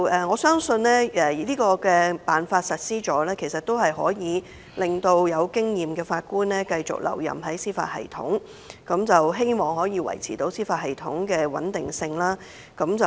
我相信實施這辦法後，可令有經驗的法官繼續留任司法系統，可望維持司法系統的穩定性。